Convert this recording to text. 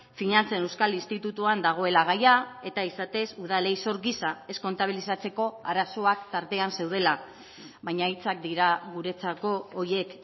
finantzen euskal institutuan dagoela gaia eta izatez udalei zor gisa ez kontabilizatzeko arazoak tartean zeudela baina hitzak dira guretzako horiek